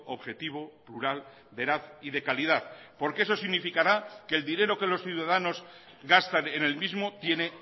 objetivo plural veraz y de calidad porque eso significará que el dinero que los ciudadanos gastan en el mismo tiene